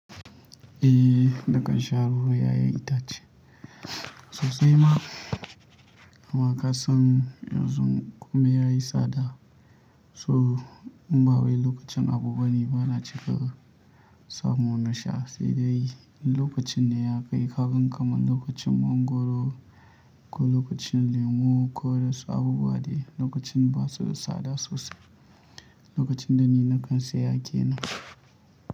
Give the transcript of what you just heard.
Eh, nakan sha ruwan ya'yan itace sosai ma. Amma ka san yanzu komai ya yi tsada, so in ba wai lokacin abu bane bana cika samu na sha, sai dai lokacin ne ya kai. Kagan kaman lokacin mangwaro ko lokacin lemu ko da su abubuwa dai, lokacin ba su da tsada sosai. Lokacin da ni na kan seya ƙenan.